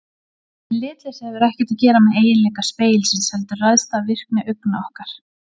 En litleysið hefur ekkert að gera með eiginleika spegilsins heldur ræðst af virkni augna okkar.